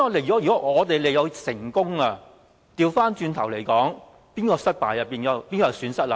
如果我們利誘成功，便變成是對手的失敗，是誰有損失？